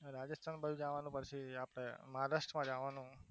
રાજસ્થાન પછી જવાનું augustમાં જવાનું